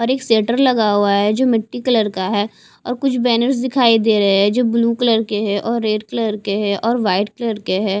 और एक सेटर लगा हुआ है जो मिट्टी कलर का है और कुछ बैनर्स दिखाई दे रहे है जो ब्लू कलर के है और रेड कलर के हैं और वाइट कलर के है।